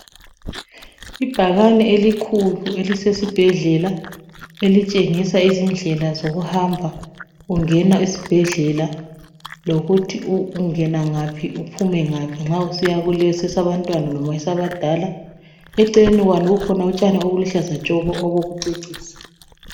Ibhakani elikhulu elisesibhedlela elitshengisa izindlela zokuhamba ungena esibhedlela lokuthi ungena ngaphi uphume ngaphi nxa usiya kulesi esabantwana kumbe esabadala. Eceleni kwalo kukhona utshani olulutshaza tshoko olokucecisa